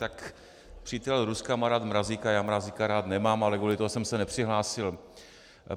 Tak přítel Ruska má rád Mrazíka, já Mrazíka rád nemám, ale kvůli tomu jsem se nepřihlásil.